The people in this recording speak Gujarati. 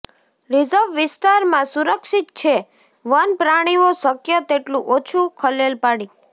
રિઝર્વ વિસ્તારમાં સુરક્ષિત છે વન પ્રાણીઓ શક્ય તેટલું ઓછું ખલેલ પાડી